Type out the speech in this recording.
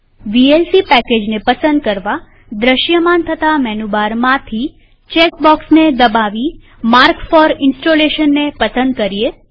VLC પેકેજને પસંદ કરવાદ્રશ્યમાન થતા મેનુ બારમાંથી ચેક બોક્સને દબાવી માર્ક ફોર ઈંસ્ટોલેશનને પસંદ કરીએ